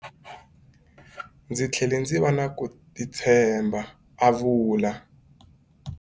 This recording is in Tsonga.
Ndzi tlhele ndzi va na ku titshemba, a vula.